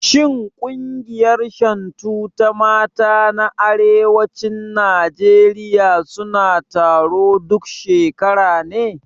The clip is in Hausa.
Shin ƙungiyar Shantu ta mata na arewacin Najeriya suna taro duk shekara ne?